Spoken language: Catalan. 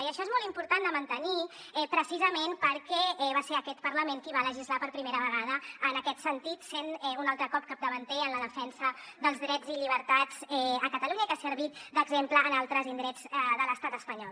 i això és molt important de mantenir precisament perquè va ser aquest parlament qui va legislar per primera vegada en aquest sentit sent un altre cop capdavanter en la defensa dels drets i llibertats a catalunya i que ha servit d’exemple en altres indrets de l’estat espanyol